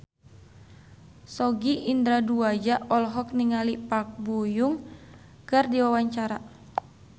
Sogi Indra Duaja olohok ningali Park Bo Yung keur diwawancara